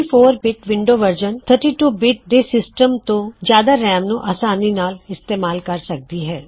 64 bit window version 32 bit ਦੇ system ਤੋ ਜਿਆਦਾ ਰੈਮ ਨੂੰ ਅਸਾਨੀ ਨਾਲ ਇਸਤੇਮਾਲ ਕਰ ਸਕਦੀ ਹੈ